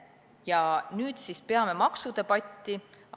Ja nüüd siis peame maksudebatti.